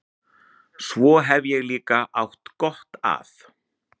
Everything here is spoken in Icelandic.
Svo hef ég líka átt góða að.